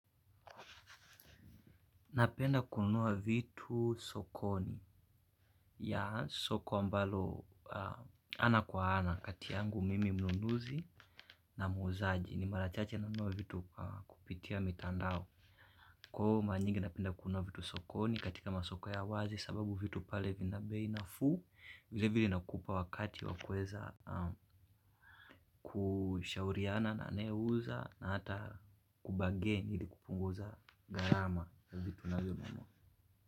Napenda kununua vitu sokoni ya soko ambalo ana kwa ana kati yangu mimi mnunuzi na muzaji ni marachache nanunua vitu kupitia mitandao. Kwa hivo mara nyingi napenda kunua vitu sokoni katika masoko ya wazi sababu vitu pale vina bei nafuu. Vile vile nakupa wakati wakueza kushauriana na anayeuza na hata kubargain ili kupunguza gharama ya vitu unavyonunua.